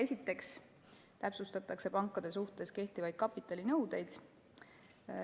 Esiteks täpsustatakse pankade suhtes kehtivaid kapitalinõudeid.